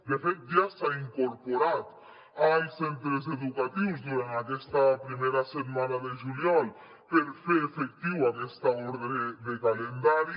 de fet ja s’ha incorporat als centres educatius durant aquesta primera setmana de juliol per fer efectiva aquesta ordre de calendari